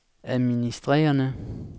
administrerende